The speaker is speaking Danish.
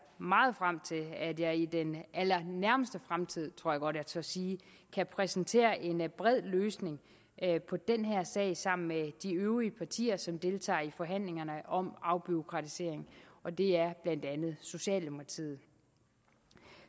meget frem til at jeg i den allernærmeste fremtid tror jeg godt jeg tør sige kan præsentere en bred løsning på den her sag sammen med de øvrige partier som deltager i forhandlingerne om afbureaukratisering og det er blandt andet socialdemokratiet